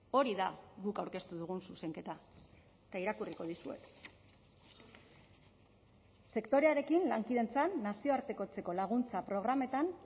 hori da guk aurkeztu dugun zuzenketa eta irakurriko dizuet sektorearekin lankidetzan nazioartekotzeko laguntza programetan